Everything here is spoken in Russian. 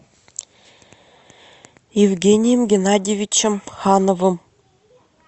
евгением геннадьевичем хановым